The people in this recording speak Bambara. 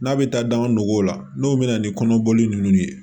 N'a bɛ taa danganw la n'o bɛ na ni kɔnɔboli ninnu ye